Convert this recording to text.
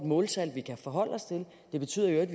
måltal vi kan forholde os til det betyder i øvrigt